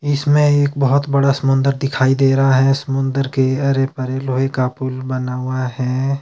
इसमें एक बहुत बड़ा समंदर दिखाई दे रहा है समुद्र के अरे परे लोहे का पुल बना हुआ है।